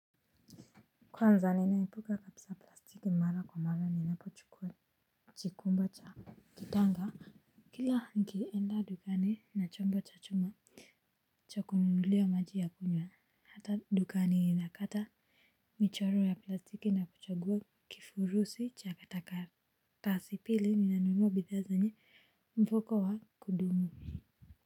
Kwanza ninaipuka kabsa plastiki mara kwa mara ni napo chukua chikumba cha kitanga. Kila nikienda dukani na chombo cha choma. Cha kununulia maji ya kunya hata dukani inakata. Michoro ya plastiki na kuchagua kifurusi cha kataka Tasipili ninanunua bidhaa zenye mpoko wa kudumu.